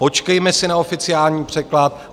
Počkejme si na oficiální překlad.